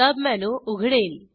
submenu उघडेल